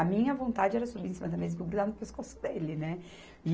A minha vontade era subir em cima da mesa e grudar no pescoço dele, né?